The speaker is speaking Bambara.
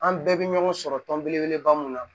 An bɛɛ bɛ ɲɔgɔn sɔrɔ tɔn belebeleba mun na